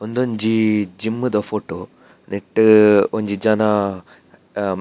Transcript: ಉಂದೊಂಜಿ ಜಿಮ್ಮ್ ದ ಫೊಟೊ ನೆಟ್ಟ್ ಒಂಜಿ ಜನ--